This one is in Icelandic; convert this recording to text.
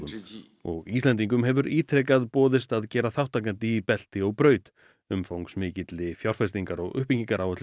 og Íslendingum hefur ítrekað boðið að gerast þátttakandi í belti og braut umfangsmikilli fjárfestingar og